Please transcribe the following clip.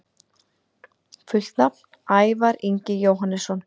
Fullt nafn: Ævar Ingi Jóhannesson